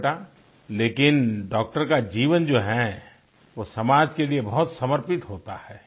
हो बेटा लेकिन डॉक्टर का जीवन जो है वो समाज के लिये बहुत समर्पित होता है